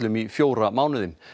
í fjóra mánuði